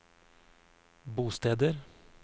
bosteder